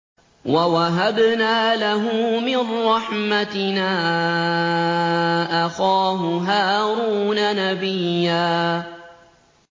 وَوَهَبْنَا لَهُ مِن رَّحْمَتِنَا أَخَاهُ هَارُونَ نَبِيًّا